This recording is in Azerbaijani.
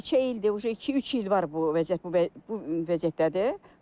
Neçə ildir, iki-üç il var bu vəziyyət, bu vəziyyətdədir.